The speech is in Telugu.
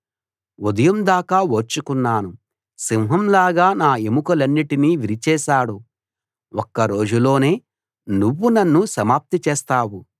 ఉదయం దాకా ఓర్చుకున్నాను సింహం లాగా నా ఎముకలన్నిటినీ విరిచేశాడు ఒక్క రోజులోనే నువ్వు నన్ను సమాప్తి చేస్తావు